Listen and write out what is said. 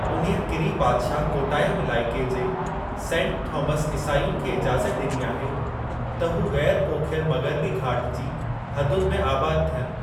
उन्हीअ किरी बादशाहु कोटायाम इलाइक़े जे सेंट थामस ईसायुनि खे इजाज़त ॾिनी आहे त हू ग़ैरु पोखियल मग़िरबी घाट जी हदुनि में आबाद थियनि।